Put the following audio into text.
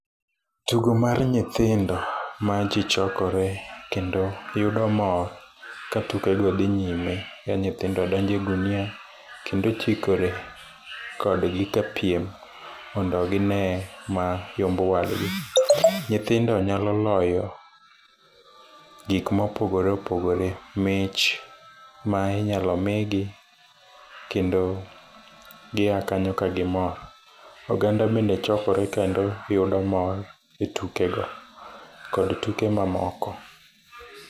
Tugo mar nyithindo ma ji chokore kendo yudo mor ka tukego dhi nyime en ni nyithindogo donjo egunia kendo chikore kodgi kapiem mondo gine ma yombo wadgi. Nyithindo nyalo loyo gik ma opogore opogore mich ma inyalo migi kendo gi a kanyo ka gimor oganda bende chokore kendo yudo mor etukego kod tuke mamoko.